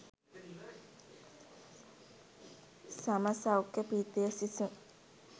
සම සෞඛ්‍ය පීඨයේ සිසුන්